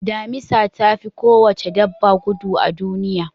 Damisa ta fi kowace dabba gudu a duniya.